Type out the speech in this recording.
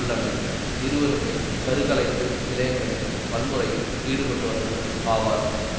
உள்ளனர் இருவருமே கரு கலைப்பு நிலையங்களின் வன்முறையில் ஈடுபட்டவர்கள் ஆவர்